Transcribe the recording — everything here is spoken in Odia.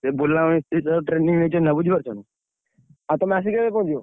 ସେ ବୁଲା ମିସ୍ତ୍ରୀ ଠାରୁ training ନେଇଛନ୍ତି ନା ବୁଝିପାରୁଛ ନା? ଆଉ ତମେ ଆସି କେବେ ପହଁଞ୍ଚିବ?